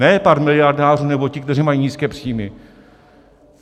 Ne pár miliardářů nebo ti, kteří mají nízké příjmy.